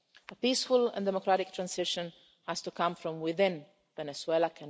A peaceful and democratic transition has to come from within Venezuela.